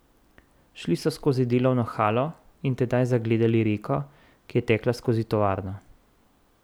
Šli so skozi delovno halo in tedaj zagledali reko, ki je tekla skozi tovarno.